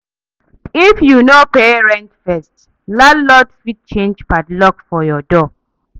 If you no pay rent first, landlord fit change padlock for your door.